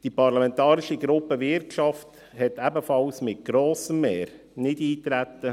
Die Parlamentarische Gruppe Wirtschaft beschloss ebenfalls mit grossem Mehr dazu Nichteintreten.